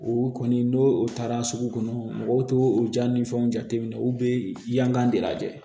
U kɔni n'o taara sugu kɔnɔ mɔgɔw t'o jaa ni fɛnw jate minɛ u bɛ yan kan de lajɛ